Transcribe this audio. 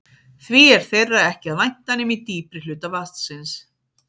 Því er þeirra ekki að vænta nema í dýpri hluta vatnsins.